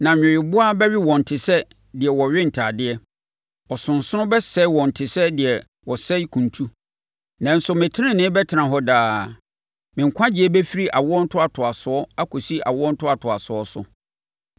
Na nweweboa bɛwe wɔn te sɛ deɛ wɔwe atadeɛ; ɔsonsono bɛsɛe wɔn te sɛ deɛ wɔsɛe kuntu. Nanso me tenenee bɛtena hɔ daa me nkwagyeɛ bɛfiri awoɔ ntoatoasoɔ akɔsi awoɔ ntoatoasoɔ so.”